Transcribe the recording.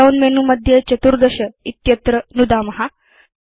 drop down menu मध्ये 14 इत्यत्र नुदाम